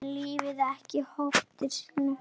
En lýkur ekki hótun sinni.